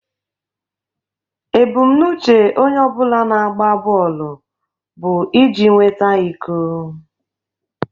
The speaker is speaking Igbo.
Ebumnuche onye ọ bụla na-agba bọọlụ bụ iji nweta iko